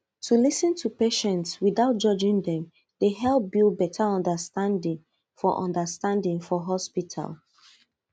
to lis ten to patients without judging dem dey help build better understanding for understanding for hospital